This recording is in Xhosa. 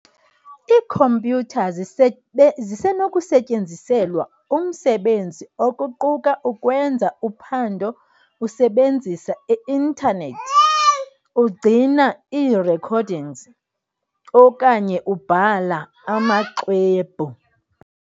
Iikhompyutha zisenokusetyenziselwa umsebenzi, okuquka ukwenza uphando usebenzisa i-internet, ugcina ii-recordings, okanye ubhala amaxwebhu.